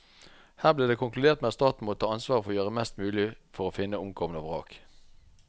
Her ble det konkludert med at staten måtte ta ansvar for å gjøre mest mulig for å finne omkomne og vrak.